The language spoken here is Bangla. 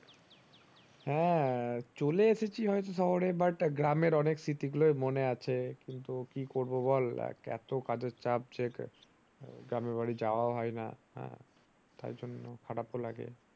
হ্যাঁ চলে এসেছি হয়তো শহরে but গ্রামের অনেক স্মৃতি গুলো মনে আছে কিন্তু কি করবো বল যা আহ এত কাজের চাপ যে গ্রামের বাড়ি যাওয়াও হয়না আঃ তাই জন্য খারাপ ও লাগে ।